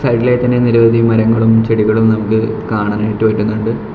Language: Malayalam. സൈഡിലായിട്ട് തന്നെ നിരവധി മരങ്ങളും ചെടികളും നമുക്ക് കാണാനായിട്ട് പറ്റുന്നുണ്ട്.